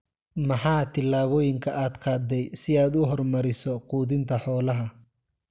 Maxaa tillaabooyinka aad qaaday si aad u horumariso quudinta xoolaha?